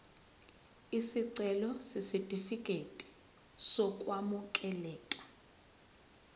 isicelo sesitifikedi sokwamukeleka